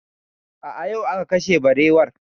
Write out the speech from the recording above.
A'a, yau aka kashe barewar